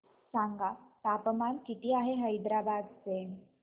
सांगा तापमान किती आहे हैदराबाद चे